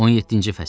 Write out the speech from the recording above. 17-ci fəsil.